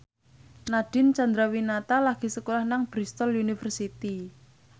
Nadine Chandrawinata lagi sekolah nang Bristol university